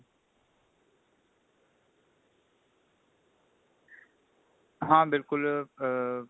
ਹਾਂ ਬਿਲਕੁਲ ਆ